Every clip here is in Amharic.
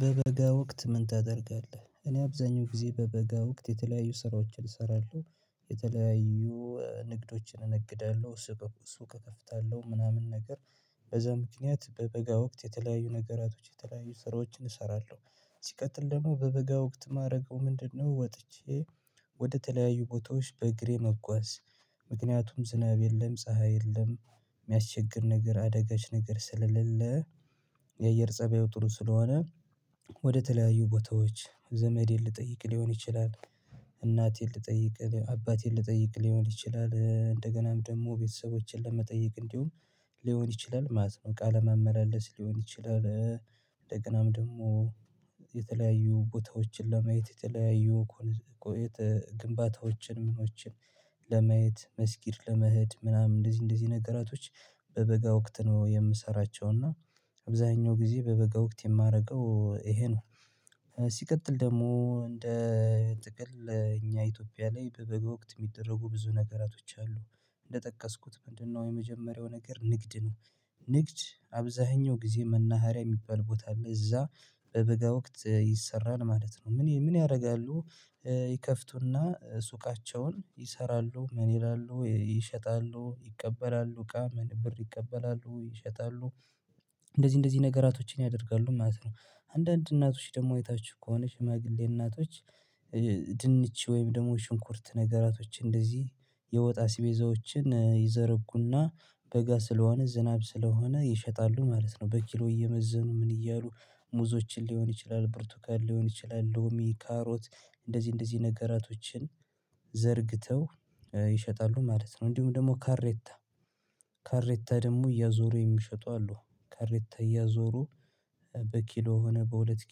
በበጋ ወቅት ምን ታደርጋለህ? እኔ አብዛኛው ጊዜ በበጋ ወቅት የተለያዩ ስራዎችን እሰራለሁ። የተለያዩ ንግዶችን እነግዳለሁ ስበብ ሱቅ እከፍታለሁ ምናምን ነገር። በዛ ምክንያት በበጋ ወቅት የተለያዩ ነገራቶች የተለያዩ ስራዎችን እሰራለሁ። ሲቀጥል ደግሞ በበጋ ወቅት የማደርገው ምንድነው ወጥቼ ወደተለያዩ ቦታዎች በእግሬ መጓዝ። ምክንያቱም ዝናብ የለም ፀሀይ የለም የሚያስቸግር ነገር አደጋች ነገር ስልልህ የአየር ፀባዩ ጥሩ ስለሆነ። ወደተለያዩ ቦታዎች ዘመዴን ልጠይቅ ሊሆን ይችላል። እናቴን ልጠይቅ አባቴን ልጠይቅ ሊሆን ይችላል እንደገናም ደግሞ ቤተሰቦችን ለመጠየቅ እንዲሁም ሊሆን ይችላል ማለት ነው። ቃለ መመላለስ ሊሆን ይችላል እንደገናም ደግሞ የተለያዩ ቦታዎችን ለማየት የተለያዩ ግንባታዎችን ምኖችን ለመየት መስጊድ ለመሄድ ምናምን እንደዚህ እንደዚህ ነገራቶች። በበጋ ወቅት ነው የምሰራቸው እና አብዛኛው ጊዜ በበጋ ወቅት የማደርገው ይሄ ነው። ሲቀጥል ደግሞ እንደ ጥቅል እኛ ኢትዮጵያ ላይ በበጎ ወቅት የሚደረጉ ብዙ ነገራቶች አሉ። እንደጠቀስኩት ምንድነው? የመጀመሪያው ነገር ንግድ ነው። ንግድ አብዛኛው ጊዜ መናኸሪያ የሚባል ቦታ አለ እዛ በበጋ ወቅት ይሰራል ማለት ነው። ምን ምን ያደርጋሉ? ይከፍቱና ሱቃቸውን ይሰራሉ ምን ይላሉ ይሸጣሉ ይቀበላሉ እቃ ምን ብር ይቀበላሉ ይሸጣሉ። እንደዚህ እንደዚህ ነገራቶችን ያደርጋሉ ማለት ነው። አንዳንድ እናቶች ደግሞ የታችሁ ከሆነ ሽማግሌ እናቶች። ድንች ወይም ደግሞ ሽንኩርት ነገራቶች እንደዚህ የወጣ አቤዛዎችን ይዘረጉና በጋ ስለሆነ ዝናብ ስለሆነ ይሸጣሉ ማለት ነው። በኪሎ እየመዘኑ ምን እያሉ ሙዞችን ሊሆን ይችላል ብርቱካን ሊሆን ይችላል ሎሚ ካሮት እንደዚህ እንደዚህ ነገራቶችን ዘርግተው ይሸጣሉ ማለት ነው። እንዲሁም ደግሞ ካሬታ ካሬታ ደግሞ እያዞሩ የሚሸጡ አሉ ካሬታ እያዞሩ በኪሎ ሆነ በሁለት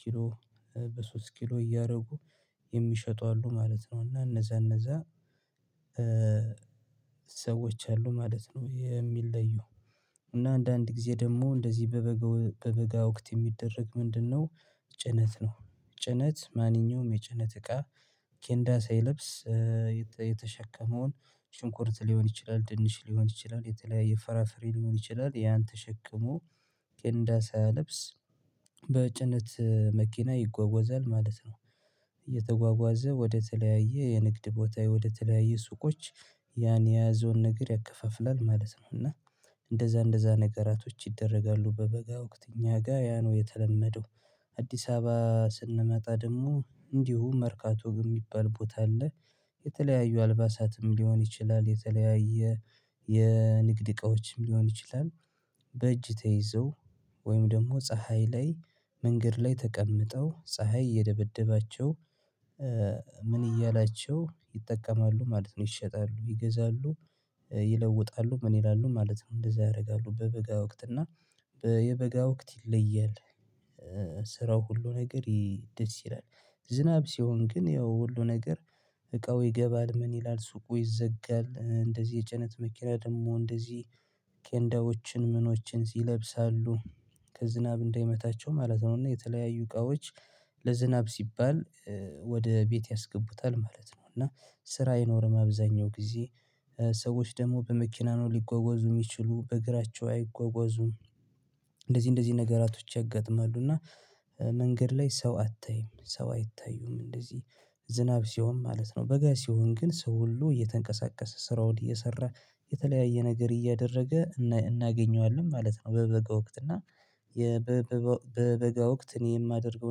ኪሎ በሶስት ኪሎ እያደረጉ የሚሸጡ አሉ ማለት ነው። እና እነዛ እነዛ ሰዎች አሉ ማለት ነው። የሚለዩ እና አንዳንድ ጊዜ ደግሞ እንደዚህ በበጋ በበጋ ወቅት የሚደረግ ምንድነው? ጭነት ነው። ጭነት ማንኛውም የጭነት እቃ ኬንዳ ሳይልብስ የተሸከመውን ጭንቁርት ሊሆን ይችላል ድንች ሊሆን ይችላል የተለያየ ፈራፈሬ ሊሆን ይችላል ያን ተሸክሞ ቅንዳሳ ለብስ በጭነት መኪና ይጓጓዛል ማለት ነው። እየተጓጓዘ ወደ ተለያየ የንግድ ቦታ ወደ ተለያየ ሱቆች ያን የያዘውን ነገር ያከፋፍላል ማለት ነው። እና እንደዛ እንደዛ ነገራቶች ይደረጋሉ በበጋ ወቅት እኛ ጋር ያ ነው የተለመደው። አዲስ አበባ ስንመጣ ደግሞ እንዲሁ መርካቶ የሚባል ቦታ አለ። የተለያዩ አልባሳትም ሊሆን ይችላል የተለያየ የንግድ እቃዎችም ሊሆን ይችላል። በእጅ ተይዘው ወይም ደግሞ ፀሀይ ላይ መንገድ ላይ ተቀምጠው ፀሀይ እየደበደባቸው ምን እያላቸው ይጠቀማሉ ማለት ነው። ይሸጣሉ ይገዛሉ ይለውጣሉ ምን ይላሉ ማለት ነው። እንደዛ ያደርጋሉ በበጋ ወቅት እና የበጋ ወቅት ይለያል። ስራው ሁሉ ነገር ደስ ይላል። ዝናብ ሲሆን ግን ያው ሁሉ ነገር እቃው ይገባል ምን ይላል ሱቁ ይዘጋል እንደዚህ የጭነት መኪና ደግሞ እንደዚህ ኬንዳዎችን ምኖችን ይለብሳሉ። ዝናብ እንዳይመታቸው ማለት ነው እና የተለያዩ እቃዎች ለዝናብ ሲባል ወደ ቤት ያስገቡታል ማለት ነው። እና ስራ የኖረ መብዛኛው ጊዜ ሰዎች ደግሞ በመኪና ነው ሊጓጓዙ የሚችሉ በእግራቸው አይጓጓዙም። እንደዚህ ነገራቶች ያጋጥማሉ እና መንገድ ላይ ሰው አታይም ሰው አይታዩም እንደዚህ ዝናብ ሲሆን ማለት ነው። በጋዜው ግን ሰው ሁሉ እየተንቀሳቀሰ ስራ ወዲህ እየሰራ የተለያየ ነገር እያደረገ እናገኘዋለን ማለት ነው። በበጋ ወቅት እና የበበጋ ወቅት እኔ የማደርገው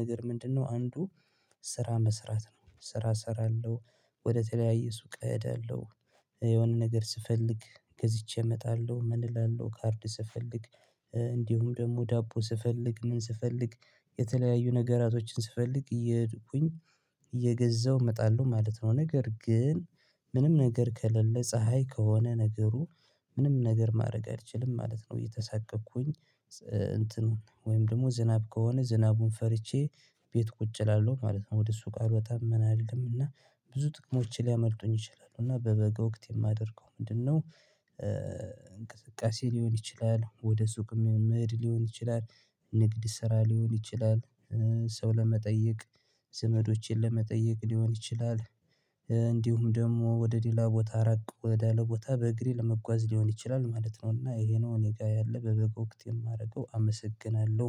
ነገር ምንድነው አንዱ ስራ መስራት ነው ስራ እሰራለሁ። ወደ ተለያየ ሱቅ እደለው እዳለሁ የሆነ ነገር ስፈልግ ገዝቼ እመጣለሁ። ምን እላለሁ ካርድ ስፈልግ እንዲሁም ደግሞ ዳቦ ስፈልግ ምን ስፈልግ የተለያዩ ነገራቶችን ስፈልግ እየሄድኩኝ እየገዛሁ እመጣለሁ ማለት ነው። ነገር ግን ምንም ነገር ከለለ ፀሀይ ከሆነ ነገሩ ምንም ነገር ማድረግ አልችልም ማለት ነው። እየተሳቀቅኩኝ እንትኑን ወይም ደግሞ ዝናብ ከሆነ ዝናቡን ፈርቼ ቤት ቁጭ እላለሁ ማለት ነው። ወደ እሱ ቃል ወጣ ምን አይደለም እና ብዙ ጥቅሞች ሊያመልጡኝ ይችላሉ። እና በበጋ ወቅት የማደርገው ምንድነው? እንቅስቃሴ ሊሆን ይችላል ወደ ሱቅ መሄድ ሊሆን ይችላል። ንግድ ስራ ሊሆን ይችላል። ሰው ለመጠየቅ ዘመዶቸን ለመጠየቅ ሊሆን ይችላል። እንዲሁም ደግሞ ወደ ሌላ ቦታ ራቅ ወደ አለ ቦታ በእግሬ ለመጓዝ ሊሆን ይችላል ማለት ነው። እና ይሄ ነው እኔ ጋር ያለ በበጎ ወቅት የማደርገው አመሰግናለሁ